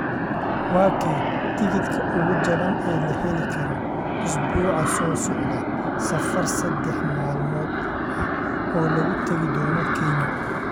waa kee tigidhka ugu jaban ee la heli karo usbuuca soo socda safar saddex maalmood ah oo lagu tagi doono kenya